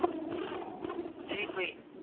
ਕਿਹੜੀ ਭੂਈ